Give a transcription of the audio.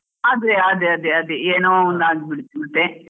ಅದೇ ಅದೇ ಅದೇ ಅದೇ ಏನೋ ಒಂದ್ ಆಗ್ಬಿಡುತ್ತೆ ಮತ್ತೆ.